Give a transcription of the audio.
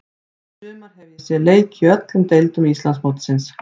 Í sumar hef ég séð leiki í öllum deildum Íslandsmótsins.